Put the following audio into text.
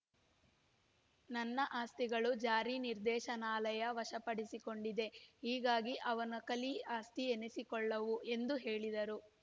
ನನ್ನ ಆಸ್ತಿಗಳನ್ನು ಜಾರಿ ನಿರ್ದೇಶನಾಲಯ ವಶಪಡಿಸಿಕೊಂಡಿದೆ ಹೀಗಾಗಿ ಅವುನ ಕಲಿ ಆಸ್ತಿ ಎನ್ನಿಸಿಕೊಳ್ಳವು ಎಂದು ಹೇಳಿದರು